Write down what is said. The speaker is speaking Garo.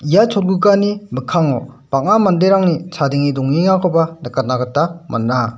ia cholgugani mikkango bang·a manderangni chadenge dongengakoba nikatna gita man·a.